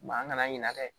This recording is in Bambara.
an kana ɲinɛ dɛ